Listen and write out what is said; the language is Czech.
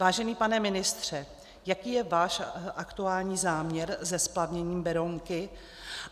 Vážený pane ministře, jaký je váš aktuální záměr se splavněním Berounky?